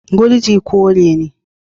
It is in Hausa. Gurji kore ne.